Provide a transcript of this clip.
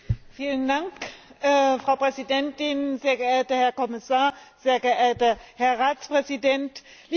Frau Präsidentin, sehr geehrter Herr Kommissar, sehr geehrter Herr Ratspräsident, liebe Kolleginnen und Kollegen!